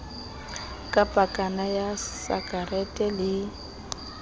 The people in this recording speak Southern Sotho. ka pakana ya sakarete le